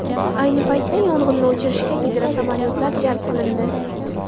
Ayni paytda yong‘inni o‘chirishga gidrosamolyotlar jalb qilindi.